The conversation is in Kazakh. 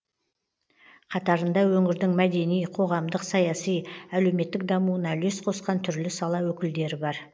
қатарында өңірдің мәдени қоғамдық саяси әлеуметтік дамуына үлес қосқан түрлі сала өкілдері бар